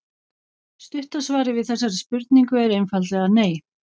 Stutta svarið við þessari spurningu er einfaldlega nei.